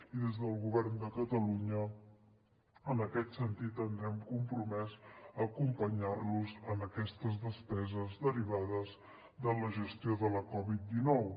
i des del govern de catalunya en aquest sentit ens hem compromès a acompanyar los en aquestes despeses derivades de la gestió de la covid dinou